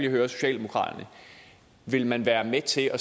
høre socialdemokraterne vil man være med til at